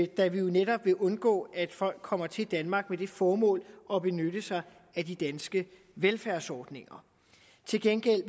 da vi jo netop vil undgå at folk kommer til danmark med det formål at benytte sig af de danske velfærdsordninger til gengæld